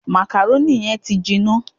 Màkàrónì yẹn ti jiná